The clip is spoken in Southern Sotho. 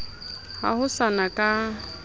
ha ho sa na ka